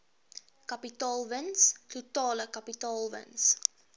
kapitaalwins totale kapitaalwins